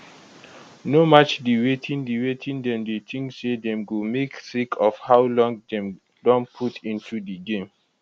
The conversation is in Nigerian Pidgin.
no match di wetin di wetin dem dey tink say dem go make sake of how long dem don put into di game